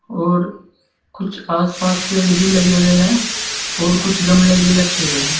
और कुछ आस पास पेड़ भी लगे हुए हैं और कुछ गमले भी रखे हुए हैं।